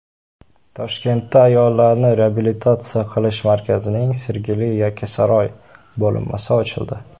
Toshkentda ayollarni reabilitatsiya qilish markazining Sergeli-Yakkasaroy bo‘linmasi ochildi.